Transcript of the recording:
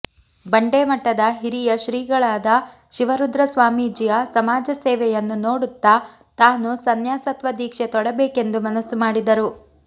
ಬಂಡೇಮಠದ ಹಿರಿಯಶ್ರೀಗಳಾದ ಶಿವರುದ್ರ ಸ್ವಾಮೀಜಿಯ ಸಮಾಜಸೇವೆಯನ್ನು ನೋಡುತ್ತಾ ತಾನೂ ಸನ್ಯಾಸತ್ವ ದೀಕ್ಷೆ ತೊಡಬೇಕೆಂದು ಮನಸು ಮಾಡಿದರು